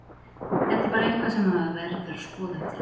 Þetta er bara eitthvað sem maður verður að skoða eftir leikinn.